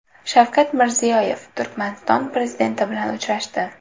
Shavkat Mirziyoyev Turkmaniston prezidenti bilan uchrashdi.